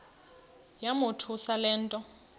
yamothusa le nto